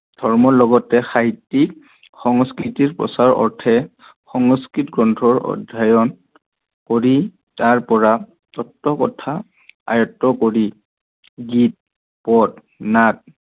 ধৰ্মৰ লগতে সাহিত্যিক সংস্কৃতিৰ প্ৰচাৰৰ বাবে সংস্কৃত গ্ৰণ্ঠৰ অধ্যয়ন কৰি তাৰ পৰা তত্ত কথা আয়ত্ত কৰি গীত, পদ, নাট